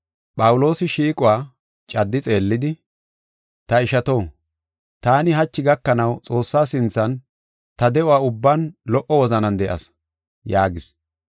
Phawuloosi shiiquwa caddi xeellidi, “Ta ishato, taani hachi gakanaw Xoossaa sinthan ta de7o ubban lo77o wozanan de7as” yaagis.